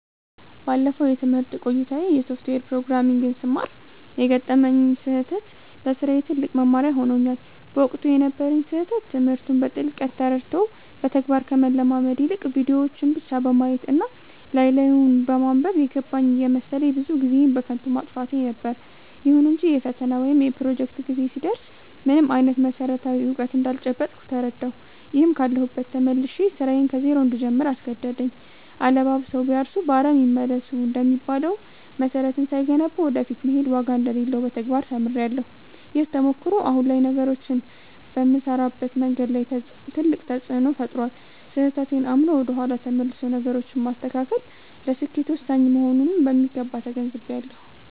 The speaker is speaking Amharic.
ባለፈው የትምህርት ቆይታዬ የሶፍትዌር ፕሮግራሚንግን ስማር የገጠመኝ ስህተት ለስራዬ ትልቅ መማሪያ ሆኖኛል። በወቅቱ የነበረኝ ስህተት ትምህርቱን በጥልቀት ተረድቶ በተግባር ከመለማመድ ይልቅ፣ ቪዲዮዎችን ብቻ በማየት እና ላይ ላዩን በማንበብ 'የገባኝ' እየመሰለኝ ብዙ ጊዜዬን በከንቱ ማጥፋቴ ነበር። ይሁን እንጂ የፈተና ወይም የፕሮጀክት ጊዜ ሲደርስ ምንም አይነት መሰረታዊ እውቀት እንዳልጨበጥኩ ተረዳሁ፤ ይህም ካለሁበት ተመልሼ ስራዬን ከዜሮ እንድጀምር አስገደደኝ።' አለባብሰው ቢያርሱ በአረም ይመለሱ' እንደሚባለው፣ መሰረትን ሳይገነቡ ወደ ፊት መሄድ ዋጋ እንደሌለው በተግባር ተምሬያለሁ። ይህ ተሞክሮ አሁን ላይ ነገሮችን በምሰራበት መንገድ ላይ ትልቅ ተፅእኖ ፈጥሯል። ስህተቴን አምኖ ወደ ኋላ ተመልሶ ነገሮችን ማስተካከል ለስኬት ወሳኝ መሆኑንም በሚገባ ተገንዝቤያለሁ።